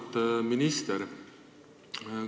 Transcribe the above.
Auväärt minister!